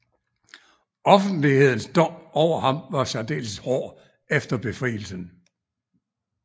Offentlighedens dom over ham var særdeles hård efter befrielsen